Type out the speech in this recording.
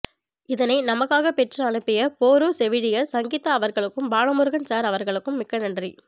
இதனை நமக்காக பெற்று அனுப்பிய போரூர் செவிலியர் சங்கிதா அவர்களுக்கும் பாலமுருகன் சார் அவர்களுக்கும் மிக்க நன்றி